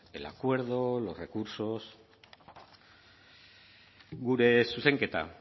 el acuerdo los recursos gure zuzenketa